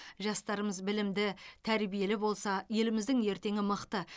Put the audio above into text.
жастарымыз білімді тәрбиелі болса еліміздің ертеңі мықты